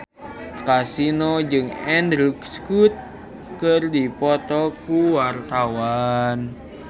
Kasino jeung Andrew Scott keur dipoto ku wartawan